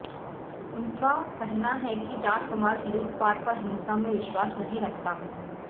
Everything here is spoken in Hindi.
उनका कहना है कि जाट समाज लूटपाट व हिंसा में विश्वास नहीं रखता